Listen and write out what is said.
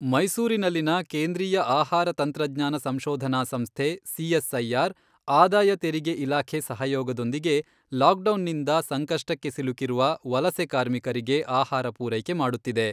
ಮೈಸೂರಿನಲ್ಲಿನ ಕೇಂದ್ರೀಯ ಆಹಾರ ತಂತ್ರಜ್ಞಾನ ಸಂಶೋಧನಾ ಸಂಸ್ಥೆ ಸಿಎಸ್ಐಆರ್ ಆದಾಯ ತೆರಿಗೆ ಇಲಾಖೆ ಸಹಯೋಗದೊಂದಿಗೆ ಲಾಕ್ಡೌನ್ನಿಂದ ಸಂಕಷ್ಟಕ್ಕೆ ಸಿಲುಕಿರುವ ವಲಸೆ ಕಾರ್ಮಿಕರಿಗೆ ಆಹಾರ ಪೂರೈಕೆ ಮಾಡುತ್ತಿದೆ.